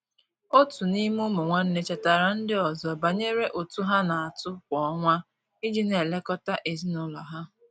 Otu n'ime ụmụ nwanne chetaara ndị ọzọ banyere ụtụ ha na-atụ kwa ọnwa iji na-elekọta ezinụlọ ha.